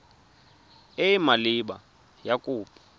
e e maleba ya kopo